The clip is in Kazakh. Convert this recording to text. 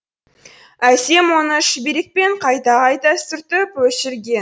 әсем оны шүберекпен қайта қайта сүртіп өшірген